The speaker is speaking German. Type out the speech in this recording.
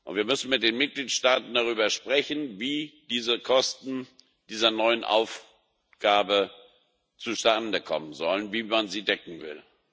Wir müssen mit den Mitgliedstaaten darüber sprechen, wie diese Kosten dieser neuen Aufgaben zustande kommen sollen, wie man sie decken will.